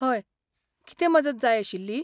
हय, कितें मजत जाय आशिल्ली?